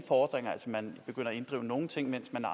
fordringer altså at man begynder at inddrive nogle ting mens man